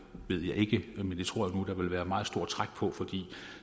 ved jeg ikke men det tror jeg nu der ville være meget stort træk på for